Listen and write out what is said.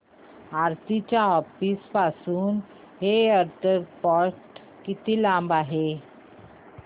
आरती च्या ऑफिस पासून एअरपोर्ट किती लांब आहे